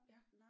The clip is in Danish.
Ja